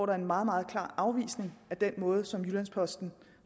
er en meget meget klar afvisning af den måde som jyllands posten